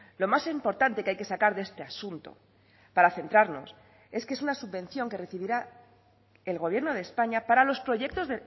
lo más importante que hay que sacar de este asunto para centrarnos es que es una subvención que recibirá el gobierno de españa para los proyectos